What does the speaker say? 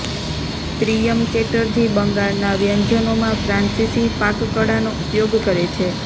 પ્રિયમ ચેટર્જી બંગાળનાં વ્યંજનોમાં ફ્રાન્સીસી પાકકળાનો ઉપયોગ કરે છે